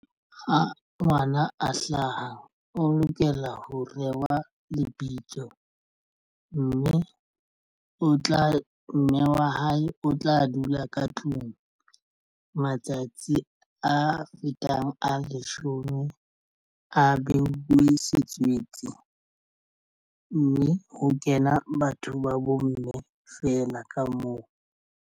Ha ngwana a hlaha o lokela ho rewa lebitso mme o tla mme wa hae o tla dula ka tlung. Matsatsi a fetang a leshome a beuwe setswetse mme ho kena batho ba bomme feela ka moo.